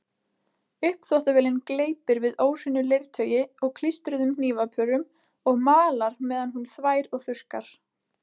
Uppþvottavélin gleypir við óhreinu leirtaui og klístruðum hnífapörum og malar meðan hún þvær og þurrkar.